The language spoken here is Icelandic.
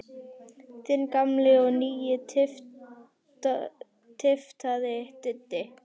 Þinn gamli og nýi tyftari, Diddi.